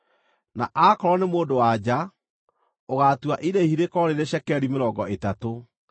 na aakorwo nĩ mũndũ-wa-nja, ũgaatua irĩhi rĩkorwo rĩrĩ cekeri mĩrongo ĩtatũ.